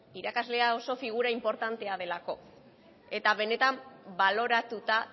irakaslea oso figura inportantea delako eta benetan baloratuta